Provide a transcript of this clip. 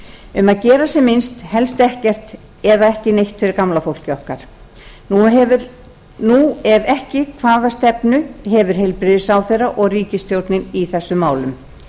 um að gera sem minnst helst ekkert eða ekki neitt fyrir gamla fólkið okkar ef ekki hvaða stefnu hefur heilbrigðisráðherra og ríkisstjórnin í þessum málum